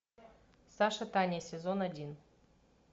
саша таня сезон один